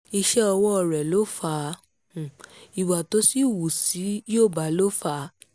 iṣẹ́ ọwọ́ rẹ̀ ló fà á o ìwà tó sì hù sí yorùbá ló fà á